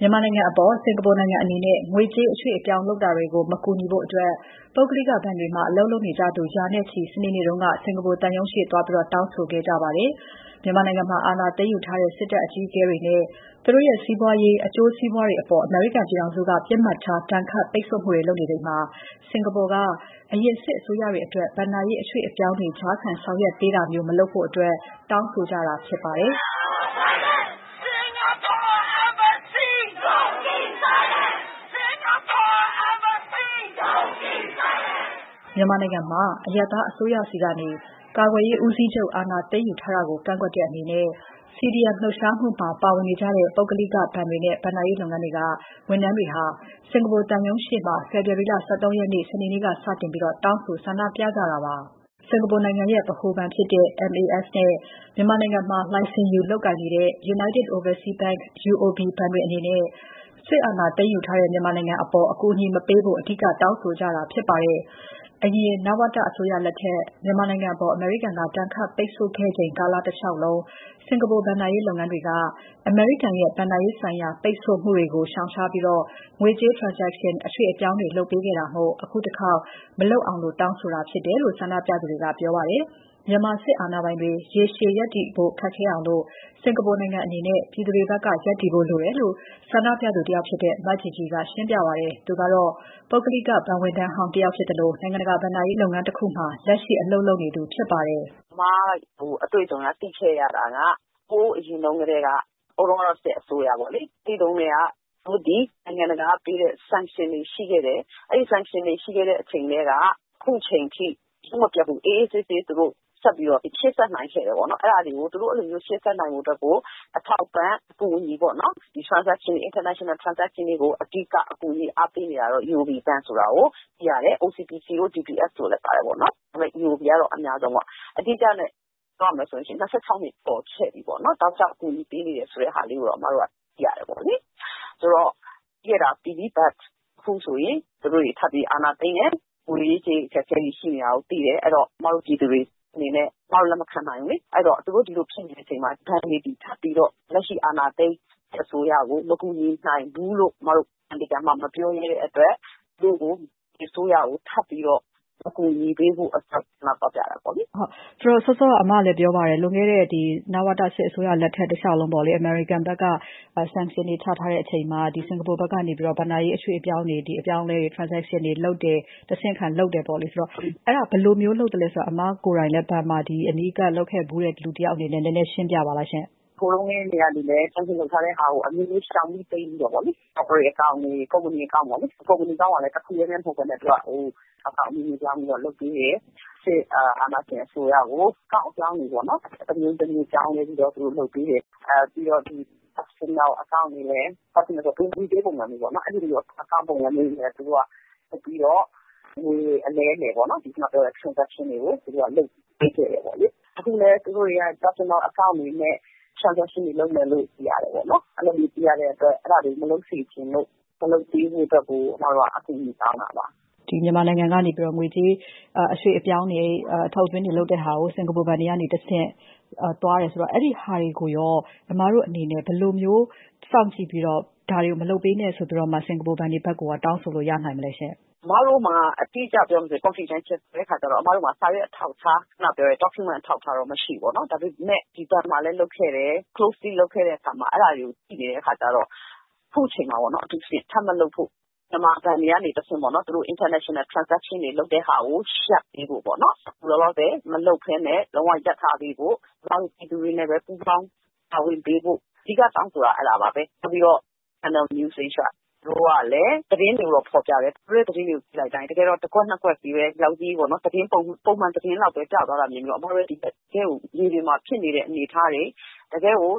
ြန်မာနိုင်ငံအပေါ် စင်ကာပူအနေနဲ့ ငွေကြေးအရွှေ့အပြောင်း လုပ်တာတွေကို မကူညီဖို့ ပုဂ္ဂလိကဘဏ်တွေမှာ အလုပ်လုပ်နေကြသူ ရာနဲ့ချီ စနေနေ့က စင်ကာပူသံရုံးရှေ့သွားပြီး တောင်းဆိုခဲ့ပါတယ်။ မြန်မာနိုင်ငံမှာ အာဏာသိမ်းယူထားတဲ့ စစ်တပ်အကြီးအကဲတွေနဲ့ သူတို့ရဲ့ စီးပွားရေး အကျိုးစီးပွားတွေအပေါ် အမေရိကန်ပြည်ထောင်စုက ပစ်မှတ်ထား ဒဏ်ခတ်ပိတ်ဆို့မှုတွေ လုပ်နေချိန်မှာ စင်ကာပူက အရင်စစ်အစိုးရအတွက် ဘဏ္ဍာရေး အရွှေ့အပြောင်းတွေ ကြားခံဆောင်ရွက်ပေးတာမျိုး မလုပ်ဖို့ တောင်းဆိုနေကြတာပါ။ အပြည့်အစုံကို မစုမြတ်မွန် တင်ပြထားပါတယ်။ မြန်မာနိုင်ငံမှာ အရပ်သားအစိုးရဆီကနေ ကာကွယ်ရေးဦးစီးချုပ် အာဏာသိမ်းယူထားတာကို ကန့်ကွက်တဲ့အနေနဲ့ CDM လှုပ်ရှားမှုမှာ ပါဝင်နေကြတဲ့ ပုဂ္ဂလိကဘဏ်တွေနဲ့ ဘဏ္ဍာရေးလုပ်ငန်းတွေက ဝန်ထမ်းတွေ စင်ကာပူသံရုံးရှေ့မှာ ဖေဖော်ဝါရီ ၁၃ ရက် စနေနေ့မှာ စတင်တောင်းဆို ဆန္ဒပြကြတာပါ။ စင်ကာပူနိုင်ငံရဲ့ ဗဟိုဘဏ်ဖြစ်တဲ့ MAS နဲ့ မြန်မာနိုင်ငံမှာ လိုင်စင်ယူ လုပ်ကိုင်နေတဲ့ United Oversea Bank - UOB ဘဏ်တွေအနေနဲ့ စစ်အာဏာသိမ်းထားတဲ့ မြန်မာနိုင်ငံကို အကူအညီမပေးဖို့ အဓိက တောင်းဆိုကြတာ ဖြစ်ပါတယ်။ အရင် နဝတအစိုးရလက်ထက် မြန်မာနိုင်ငံအပေါ် အမေရိကန်က ဒဏ်ခတ်ပိတ်ဆို့ခဲ့ချိန် ကာလတလျှောက်လုံး စင်ကာပူ ဘဏ္ဍာရေးလုပ်ငန်းတွေက အမေရိကန်ရဲ့ ဘဏ္ဍာရေးဆိုင်ရာ ပိတ်ဆို့မှုတွေကို ရှောင်ရှားပြီး ငွေကြေး Transcation အရွှေ့အပြောင်းတွေ လုပ်ပေးခဲ့တာမို့ အခုတခေါက် မလုပ်အောင် တောင်းဆိုတာဖြစ်တယ်လို့ ဆန္ဒပြသူတွေက ပြောပါတယ်။ မြန်မာစစ်အာဏာပိုင်တွေ ရေရှည်ရပ်တည်ဖို့ ခက်ခဲအောင် စင်ကာပူနိုင်ငံအနေနဲ့ ပြည်သူတွေဘက်က ရပ်တည်ဖို့လိုတယ်လို့ ဆန္ဒပြသူတယောက်ဖြစ်တဲ့ မ GG က ရှင်းပြပါတယ်။ သူကတော့ ပုဂ္ဂလိက ဘဏ်ဝန်ထမ်းဟောင်းတယောက် ဖြစ်သလို နိုင်ငံတကာ ဘဏ္ဍာရေးလုပ်ငန်းတခုမှာ လက်ရှိ အလုပ်လုပ်နေသူ ဖြစ်ပါတယ်။ “ကျမအတွေ့အကြုံအရ သိခဲ့ရတာက ဟိုးအရင်တုန်းကတည်းက၊ ဟိုတုန်းကတော့ စစ်အစိုးရပေါ့လေ၊ အဲဒီတုန်းကတည်းက နိုင်ငံတကာပေးခဲ့တဲ့ Sanction တွေ ရှိခဲ့တယ်။ အဲဒီ Sanction တွေရှိခဲ့တဲ့ အချိန်ကတည်းက အခုချိန်ထိ ရုပ်မပျက်ဘူး၊ အေးအေးဆေးဆေး သူတို့ ရှေ့ဆက်နိုင်ခဲ့တယ်။ သူတို့ အဲဒီလို ရှေ့ဆက်နိုင်ဖို့ အတွက်ကို အထောက်အပံ့၊ အကူအညီပေါ့နော်၊ ဒီ International Transaction တွေကို အဓိက ကူညီအားပေးနေတာတော့ UOB ဘဏ် ဆိုတာကို သိရတယ်။ OCBC တို့ DBS တို့လည်း ပါတယ်။ UOB ကတော့ အများဆုံးပေါ့။ အဓိကပြောရမယ်ဆိုရင် ၂၆ နှစ်ရှိပြီပေါ့၊ တောက်လျှောက် ကူညီပေးနေတယ် ဆိုတဲ့ဟာလေးကိုတော့ ကျမတို့ သိရတယ်။ ဆိုတော့ ပြီးခဲ့တာပြီးပြီ။ အခုဆိုရင် သူတို့တွေ ထပ်ပြီး အာဏာသိမ်းတယ်။ ငွေရေးကြေးရေး အခက်အခဲတွေ ရှိနေတာကို သိတယ်။ အဲတော့ ကျမတို့ ပြည်သူတွေအနေနဲ့ လက်မခံနိုင်ဘူးလေ။ အဲတော့ သူတို့ ဒီလိုဖြစ်နေတဲ့အချိန်မှာ ဘဏ်တွေက ထပ်ပြီးတော့ လက်ရှိ အာဏာသိမ်း စစ်အစိုးရကို မကူညီနိုင်ဘူးလို့ ကျမတို့ မပြောရဲတဲ့အတွက် သူတို့ကို ဒီအစိုးရကို ထပ်ပြီးတော့ အကူအညီမပေးဖို့ ဆန္ဒသွားပြတာပေါ့လေ။” မစုမြတ်မွန် - စောစောက အမလည်းပြောပါတယ်။ လွန်ခဲ့တဲ့ နဝတစစ်အစိုးရလက်ထက် တလျှောက်လုံးပေါ့လေ၊ အမေရိကန်ဘက်က Sanction တွေ ချထားတဲ့အချိန်မှာ စင်ကာပူဘက်က ဘဏ္ဍာရေး အရွှေ့အပြောင်းတွေ အပြောင်းအလဲတွေ Transaction တွေလုပ်တယ်၊ တဆင့်ခံလုပ်တယ်။ ဆိုတော့ ဘယ်လိုမျိုးလုပ်သလဲဆိုတာ အမကိုယ်တိုင်လည်း ဘဏ်မှာ အနီးကပ်လုပ်ခဲ့ဖူးတဲ့ လူတယောက်အနေနဲ့ နည်းနည်းရှင်းပြပါလား။ မGG - “အမျိုးမျိုးရှောင်ပြီး တိမ်းပြီးတော့ Cooperate အကောင့်တွေ၊ ကုမ္ပဏီအကောင့်ပေါ့လေ၊ ကုမ္ပဏီအကောင့်ကလည်း တခုတည်းလည်း မဟုတ်ဘဲနဲ့ အမည်ပြောင်းပြီးတော့ လုပ်ပေးတယ်။ စစ်အာဏာရှင် အစိုးရကို အကောင့်ပြောင်းတွေပေါ့ တမျိုးတမျိုး ပြောင်းလဲပြီးတော့ သူတို့လုပ်ပေးတယ်။ ပြီးတော့ Personal အကောင့်တွေလည်း လုပ်ပြီးတော့ ငွေအလဲအလှယ် Transaction တွေ လုပ်ပေးခဲ့တယ်။ အခုလည်း သူတို့တွေက Personal အကောင့်တွေနဲ့ Transaction တွေလုပ်မယ်လို့ သိရတယ်။ အဲဒီလို သိရတဲ့အတွက် အဲဒါတွေ မလုပ်စေချင်လို့ မလုပ်ပေးဖို့အတွက်ကို အမတို့က အကူအညီတောင်းတာပါ။” မစုမြတ်မွန် - မြန်မာနိုင်ငံကနေ ငွေကြေး အရွှေ့အပြောင်းတွေ အထုတ်အသွင်းတွေ လုပ်တဲ့ဟာကို စင်ကာပူဘဏ်တွေကနေတဆင့် သွားတယ်ဆိုတော့ အဲဒီဟာတွေကိုရော အမတို့အနေနဲ့ ဘယ်လိုမျိုး စောင့်ကြည့်ပြီးတော့ ဒါတွေကို မလုပ်ပေးနဲ့ဆိုပြီးတော့ စင်ကာပူဘဏ်တွေဘက်ကို တောင်းဆိုလို့ ရနိုင်မလဲရှင့်။ မGG - “အမတို့မှာ အတိအကျပြောမယ်ဆိုရင် Confidential ဆိုတော့ အမတို့မှာ စာရွက်အထောက်အထား Document အထောက်အထားတော့ မရှိဘူးပေါ့။ ဒါပေမယ့် ဒီဘဏ်မှာလည်း လုပ်ခဲ့တယ်၊ Closely လုပ်ခဲ့တဲ့အခါမှာ အဲဒါတွေကို သိနေတဲ့အခါကြတော့ အခုချိန်မှာ အထူးသဖြင့် ထပ်မလုပ်ဖို့ မြန်မာဘဏ်တွေက တဆင့် သူတို့ International Transaction တွေ လုပ်တဲ့ဟာကို အခုလောလောဆယ် မလုပ်ဘဲနဲ့ လုံးဝရပ်ထားဖို့ ကျမတို့ ပြည်သူတွေနဲ့ပဲ ပူးပေါင်း ပါဝင်ပေးဖို့ အဓိက တောင်းဆိုတာ အဲဒါပါပဲ။ ပြီးတော့ Channel News Asia သူတို့ကလည်း သတင်းတွေကိုတော့ ဖော်ပြတယ်။ သူတို့ရဲ့ သတင်းတွေကို ကြည့်လိုက်တိုင်း တကယ်တော့ တကွက်နှစ်ကွက်လေးပဲ ပုံမှန်သတင်းလောက်ပဲ ပြသွားပြီးတော့ တကယ့်ကို မြေပြင်မှာဖြစ်နေတဲ့ အနေအထားတွေ တကယ့်ကို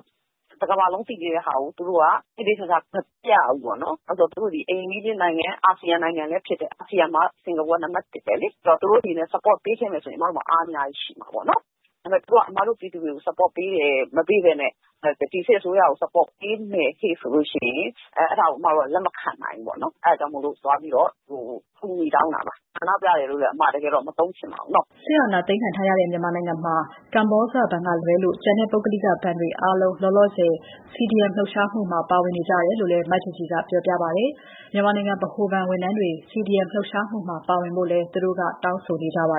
တကမ္ဘာလုံးသိနေတဲ့ဟာကို သူတို့က သေသေချာချာ မပြဘူးပေါ့နော်။ သူတို့သည် အိမ်နီးချင်းနိုင်ငံ အာဆီယံနိုင်ငံလည်း ဖြစ်တယ်။ အာဆီယံမှာ စင်ကာပူက နံပါတ်တစ်ပဲလေ။ သူတို့အနေနဲ့ Support ပေးခဲ့မယ်ဆိုရင် အမတို့အနေနဲ့ အားအများကြီး ရှိမှာပေါ့။ ဒါပေမယ့် သူတို့က အမတို့ပြည်သူတွေကို Support မပေးဘဲနဲ့ ဒီစစ်အစိုးရကို Support ပေးမယ်ဟေ့ဆိုရင် အဲဒါကို အမတို့ လက်မခံနိုင်ဘူးပေါ့။ အဲဒါကြောင့် သွားပြီးတော့ အကူအညီ တောင်းတာပါ။ ဆန္ဒပြတယ်လို့လည်း အမ တကယ်တော့ မသုံးချင်ပါဘူး။” စစ်အာဏာသိမ်းခံထားရတဲ့ မြန်မာနိုင်ငံမှာ ကမ္ဘောဇဘဏ်ကလွဲလို့ ကျန်တဲ့ ပုဂ္ဂလိကဘဏ်လုပ်ငန်းတွေ အားလုံး လောလောဆယ် CDM လှုပ်ရှားမှုမှာ ပါဝင်နေကြတယ်လို့လည်း မ GG က ပြောပါတယ်။ မြန်မာနိုင်ငံ ဗဟိုဘဏ်ဝန်ထမ်းတွေ CDM မှာ ပါဝင်လာဖို့လည်း သူတို့က တောင်းဆိုနေကြပါ